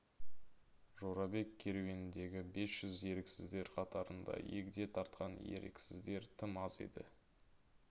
жорабек керуеніндегі бес жүз еріксіздер қатарында егде тартқан еріксіздер тым аз еді